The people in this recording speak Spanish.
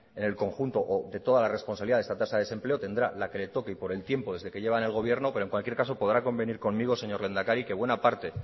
en el conjunto o de toda la responsabilidad de esta tasa de desempleo tendrá la que le toque y por el tiempo desde que lleva en el gobierno pero en cualquier caso podrá convenir conmigo señor lehendakari que buena parte